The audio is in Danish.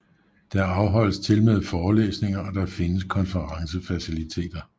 Der afholdes tilmed forelæsninger og der findes konferencefaciliteter